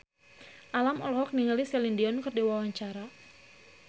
Alam olohok ningali Celine Dion keur diwawancara